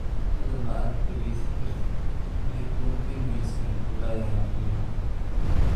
Hadda ma aad dhegaysan kartid Maxay kuwan penguins u aadayaan filimada?